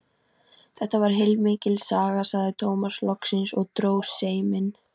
Þetta var heilmikil saga, sagði Tómas loksins og dró seiminn.